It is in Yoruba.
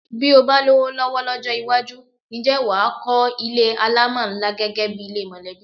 Bí o bá lówó ló̩wó̩ ló̩jó̩ iwájú, ǹjé̩ wà á kó̩ ilé alámò̩ ńlá gé̩gé̩ bi ilé mò̩lé̩bí?